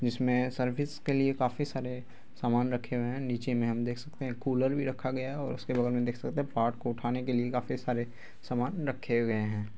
जिसमें सर्विस के लिए काफ़ी सारे सामान रखे हुए हैं। निचे में हम देख सकते हैं कूलर भी रखा गया है और उसके बगल में देख सकते है पार्ट को उठाने के लिए काफ़ी सारे सामान रखे हुए हैं।